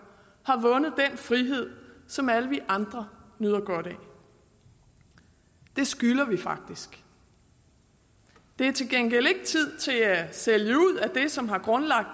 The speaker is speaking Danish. har vundet den frihed som alle vi andre nyder godt af det skylder vi faktisk det er til gengæld ikke tid til at sælge ud af det som har grundlagt